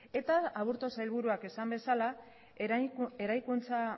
eta aburto sailburuak esan bezala eraikuntza